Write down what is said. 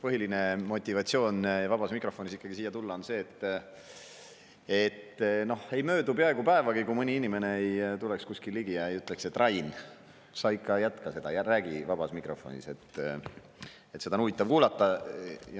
Põhiline motivatsioon vabas mikrofonis siia tulla on ikkagi see, et ei möödu peaaegu päevagi, kui mõni inimene ei tuleks kuskil ligi ega ütleks: "Rain, sa ikka jätka seda, räägi vabas mikrofonis, seda on huvitav kuulata.